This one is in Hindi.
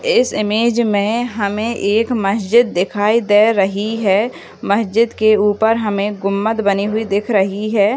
इस इमेज में हमें एक मस्जिद दिखाई दे रही है मस्जिद के ऊपर हमें गुम्बद बनी हुई दिख रही है।